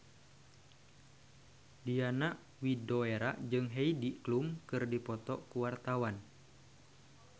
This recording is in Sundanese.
Diana Widoera jeung Heidi Klum keur dipoto ku wartawan